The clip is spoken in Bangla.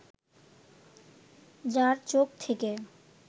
যার চোখ থেকে